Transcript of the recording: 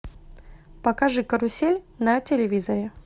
покажи карусель на телевизоре